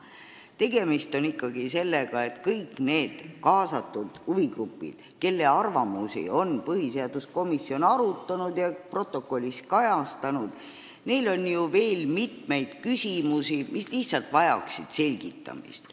Tegemist on ikkagi sellega, et kõikidel nendel kaasatud huvigruppidel, kelle arvamusi on põhiseaduskomisjon arutanud ja protokollis kajastanud, on ju veel mitmeid küsimusi, mis vajaksid selgitamist.